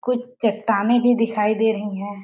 कुछ चट्टानें भी दिखाई दे रही है।